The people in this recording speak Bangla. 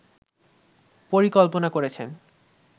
পরিকল্পনা করেছেন